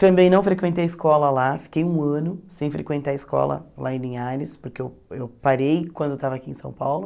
Também não frequentei a escola lá, fiquei um ano sem frequentar a escola lá em Linhares, porque eu eu parei quando eu estava aqui em São Paulo.